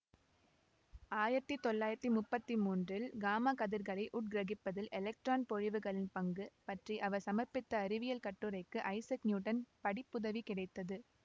ஆயிரத்தி தொள்ளாயிரத்தி முப்பத்தி மூன்றில் காமா கதிர்களை உட்கிரகிப்பதில் எலெக்ட்ரான் பொழிவுகளின் பங்கு பற்றி அவர் சமர்ப்பித்த அறிவியல் கட்டுரைக்கு ஐசக் நியூட்டன் படிப்புதவி கிடைத்தது